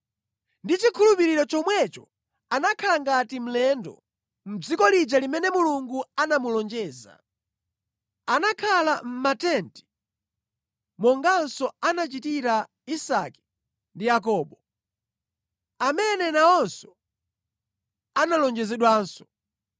Ndi chikhulupiriro chomwecho anakhala ngati mlendo mʼdziko lija limene Mulungu anamulonjeza. Anakhala mʼmatenti monganso anachitira Isake ndi Yakobo, amene nawonso analonjezedwanso.